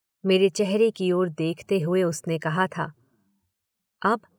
मेरे चेहरे की ओर देखते हुए उसने कहा था, अब ?